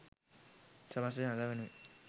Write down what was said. සමස්ත ජනතාව වෙනුවෙන්